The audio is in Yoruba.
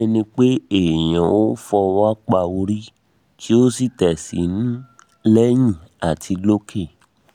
bí um ẹni pé èèyàn ó fọwọ́ pa orí um kí ó sì tẹ̀ sínú lẹ́yìn um àti lókè